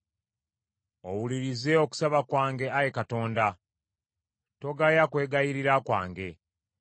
Owulirize okusaba kwange, Ayi Katonda, togaya kwegayirira kwange.